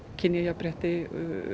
kynjajafnrétti